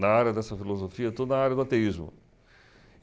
Na área dessa filosofia, toda a área do ateísmo.